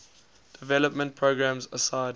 development programs aside